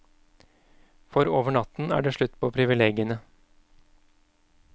For over natten er det slutt på privilegiene.